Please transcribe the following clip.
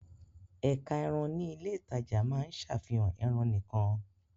Ẹ̀ka ẹran ní ilé-ìtajà máa ń ṣàfihàn ẹran nìkan.